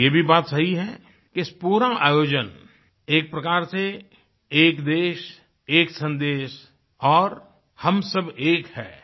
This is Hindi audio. और ये भी बात सही है इस पूरा आयोजन एक प्रकार से एक देशएक सन्देश और हम सब एक है